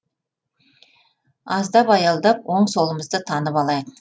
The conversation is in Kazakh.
аздап аялдап оң солымызды танып алайық